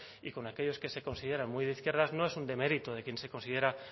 y con aquellos que se consideran muy de izquierdas no es un demérito de quien se considera